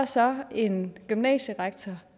så en gymnasierektor